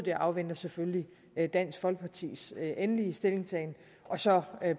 jeg afventer selvfølgelig dansk folkepartis endelige stillingtagen og så